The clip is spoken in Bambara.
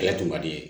Kɛlɛ tun man di